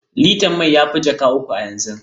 Litar mai ta fi jaka uku a yanzu.